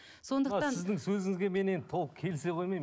сондықтан сіздің сөзіңізге мен енді толық келісе қоймаймын